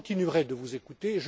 Je continuerai de vous écouter.